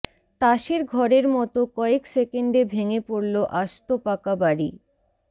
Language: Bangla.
তাসের ঘরের মতো কয়েক সেকেন্ডে ভেঙে পড়ল আস্ত পাকা বাড়ি